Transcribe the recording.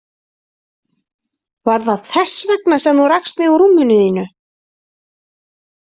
Var það þess vegna sem þú rakst mig úr rúminu þínu?